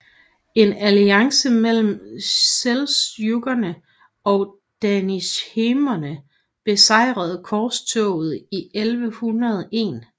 En alliance mellem seldsjukkene og danishmenderne besejrede korstoget i 1101